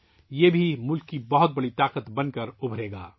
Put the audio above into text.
یہ بھی قوم کی ایک عظیم طاقت بن کر ابھرے گا